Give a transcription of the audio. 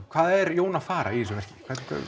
hvað er Jón að fara í þessu verki